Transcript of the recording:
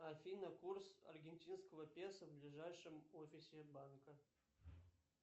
афина курс аргентинского песо в ближайшем офисе банка